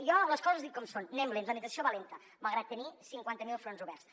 jo les coses les dic com són anem lents la implementació va lenta malgrat tenir cinquanta mil fronts oberts